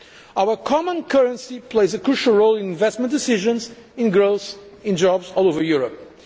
Our common currency plays a crucial role in investment decisions, in growth, in jobs all over Europe.